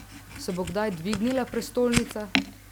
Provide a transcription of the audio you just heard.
Se bo kdaj dvignila prestolnica?